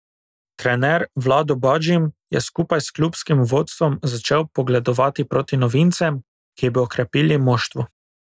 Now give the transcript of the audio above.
Trener Vlado Badžim je skupaj s klubskim vodstvom začel pogledovati proti novincem, ki bi okrepili moštvo.